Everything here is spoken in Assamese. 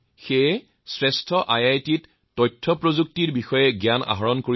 কেতিয়াবা ৰোগীৰ ফোন আহে